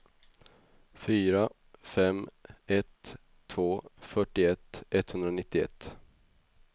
fyra fem ett två fyrtioett etthundranittioett